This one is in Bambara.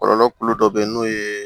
Kɔlɔlɔ kulu dɔ bɛ ye n'o ye